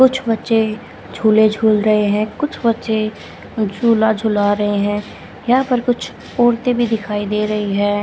कुछ बच्चे झूले झूल रहे हैं कुछ बच्चे झूला झूला रहे हैं यहां पे कुछ औरतें भी दिखाई दे रही है।